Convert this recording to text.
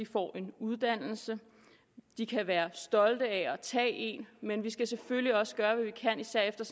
får en uddannelse de kan være stolte af at tage men vi skal selvfølgelig også gøre hvad vi kan især efter